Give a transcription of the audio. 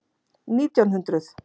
Nítján hundruð